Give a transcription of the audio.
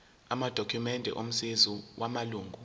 amadokhumende omazisi wamalunga